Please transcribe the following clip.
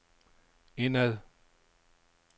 indad